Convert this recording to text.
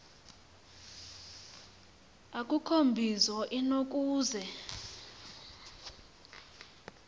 akukho mbizo inokuze